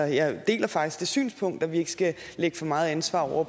jeg deler faktisk det synspunkt at vi ikke skal lægge for meget ansvar over